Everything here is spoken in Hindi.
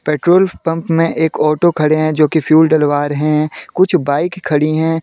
पेट्रोल पंप में एक ऑटो खड़े हैं जो कि फ्यूल डलवा रहे हैं कुछ बाइक खड़ी हैं।